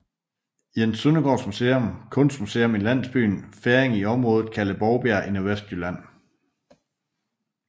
Jens Søndergaards Museum kunstmuseum i landsbyen Ferring i området kaldet Bovbjerg i Nordvestjylland